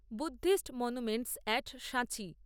Buddhist monuments at সাঁচি